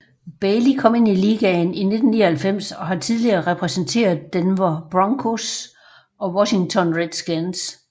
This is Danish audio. Bailey kom ind i ligaen i 1999 og har tidligere repræsenteret Denver Broncos og Washington Redskins